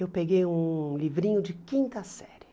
Eu peguei um livrinho de quinta série.